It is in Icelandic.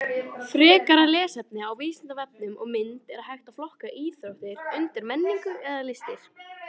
Frekara lesefni á Vísindavefnum og mynd Er hægt að flokka íþróttir undir menningu eða listir?